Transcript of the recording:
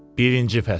Birinci fəsil.